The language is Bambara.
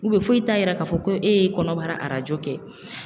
foyi t'a yira k'a fɔ ko e ye kɔnɔbara arajo kɛ.